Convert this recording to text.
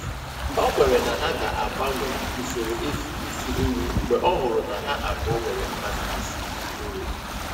O kwere na ha ga-agbanwe usoro e si esi nri mgbe ọ hụrụ na ha abụọ nwere mmasị isi nri.